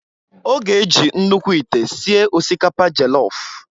Ọ ga-eji nnukwu ite sie osikapa jelof.